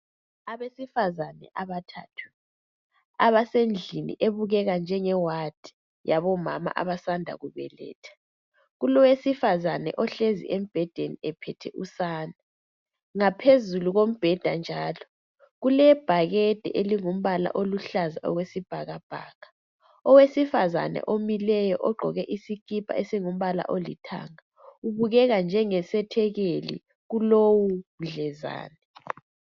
Abesifazane abathathu abasendlini ebukeka njenge ward yabomama abasanda kubeletha, kulowesifazana ohlezi embhedeni ephethe usane. Ngaphezulu kombheda njalo kulebhakede elingumbala oluhlaza okwesibhakabhaka. Owesifazana omileyo ogqoke isikipa esingumbala olithanga ubukeka njengesethekeli kulowu mdlezane.